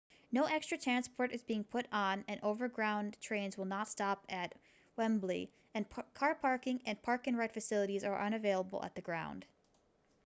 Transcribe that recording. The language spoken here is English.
no extra transport is being put on and overground trains will not stop at wembley and car parking and park-and-ride facilities are unavailable at the ground